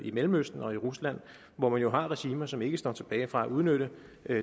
i mellemøsten og i rusland hvor man jo har regimer som ikke står tilbage for at udnytte